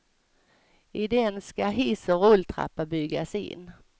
I den ska hiss och rulltrappa byggas in.